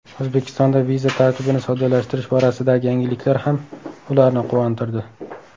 O‘zbekistonda viza tartibini soddalashtirish borasidagi yangiliklar ham ularni quvontirdi.